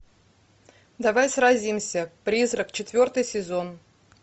давай сразимся призрак четвертый сезон